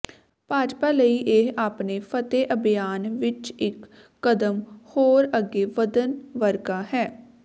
ਭਾਜਪਾ ਲਈ ਇਹ ਆਪਣੇ ਫਤਹਿ ਅਭਿਆਨ ਵਿੱਚ ਇੱਕ ਕਦਮ ਹੋਰ ਅੱਗੇ ਵਧਣ ਵਰਗਾ ਹੈ